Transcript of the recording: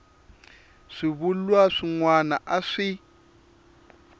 swivulwa swin wana a swi